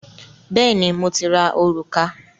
Bẹ́ẹ̀ni, mo ti ra òrùka